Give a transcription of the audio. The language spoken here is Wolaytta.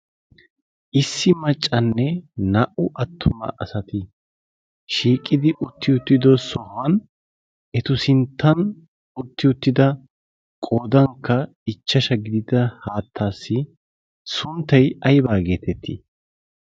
issi maccanne na"u attumma asati shiiqidi uttido sohuwaan ettu sinttan utti uttida qoodan ichchasha gidida haattaasi sunttaykka yabaa geettetti?